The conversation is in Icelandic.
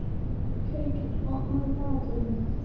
Feykir, opnaðu dagatalið mitt.